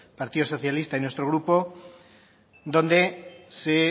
partido socialista y nuestro grupo donde se